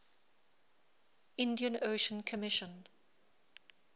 indian ocean commission